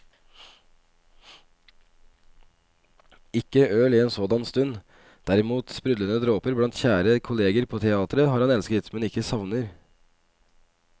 Ikke øl i en sådan stund, derimot sprudlende dråper blant kjære kolleger på teateret han har elsket, men ikke savner.